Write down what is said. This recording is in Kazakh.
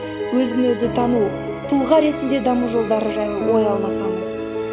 өзі өзі тану тұлға ретінде даму жолдары жайлы ой алмасамыз